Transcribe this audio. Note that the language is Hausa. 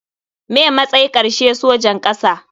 Me matsay karshe sojan kasa.